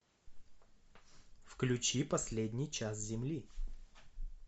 включи последний час земли